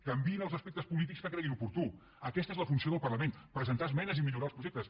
canviïn els aspectes polítics que creguin oportú aquesta és la funció del parlament presentar esmenes i millorar els projectes